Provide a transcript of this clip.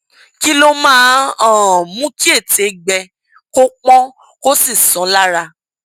kí ló máa ń um mú kí ètè gbẹ kó pọn kó sì sán lára